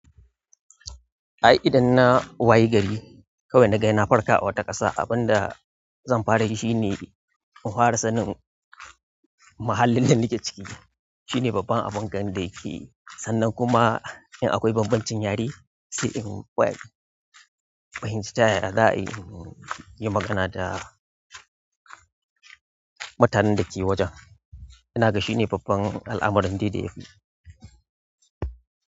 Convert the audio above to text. A idan na waye gari, kawai na ga na farka a wata ƙasa, abin da zan fara yi shi ne in fara sanin mahallin da nake ciki. Shi ne babban abin ganin da yake. Sannan kuma in akwai bambancin yare, sai in wai, fahimci ta yaya za a yi, yi magana da mutanen da ke wajen. Ina gashi shi ne babban al'amuran da yafi.